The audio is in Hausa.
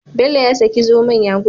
Bello ya saki zomon ya gudu